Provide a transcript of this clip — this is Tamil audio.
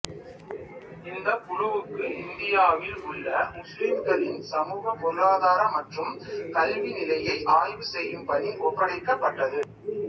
இந்தக் குழுவுக்கு இந்தியாவில் உள்ள முஸ்லிம்களின் சமூக பொருளாதார மற்றும் கல்வி நிலையை ஆய்வு செயும் பணி ஒப்படைக்கபட்டது